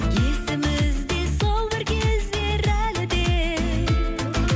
есімізде сол бір кездер әлі де